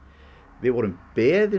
við vorum beðin